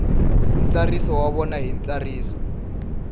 ntsariso wa vona hi ntsariso